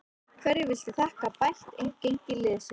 Hverju viltu þakka bætt gengi liðsins?